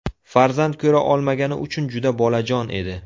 Farzand ko‘ra olmagani uchun juda bolajon edi.